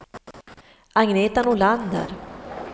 Agneta Nordlander